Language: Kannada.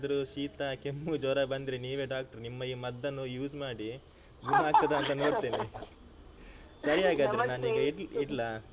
ಶೀತ ಕೆಮ್ಮು ಜ್ವರ ಬಂದ್ರೆ ನೀವೇ doctor ನಿಮ್ಮ ಈ ಮದ್ದನ್ನು use ಮಾಡಿ ಗುಣ ಆಗ್ತದ ಅಂತ ನೋಡ್ತೀನೆ ಸರಿ ಹಾಗಾದ್ರೆ ನಾನೀಗ ಇಡ್ ಇಡ್ಲಾ?